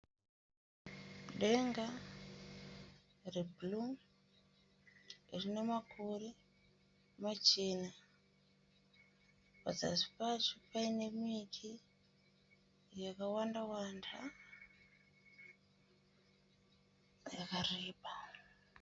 Denga rebhuruu rine makore machena. Pazasi pacho paine miti yakawanda-wanda yakareba.